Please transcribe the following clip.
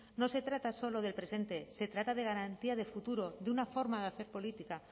no se trata solo del presente se trata de garantía de futuro de una forma de hacer política